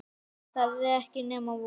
Það er ekki nema von.